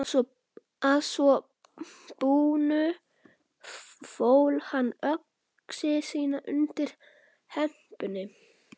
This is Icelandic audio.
Að svo búnu fól hann öxi sína undir hempunni.